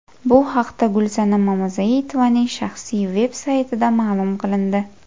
Bu haqda Gulsanam Mamazoitovaning shaxsiy veb saytida ma’lum qilindi .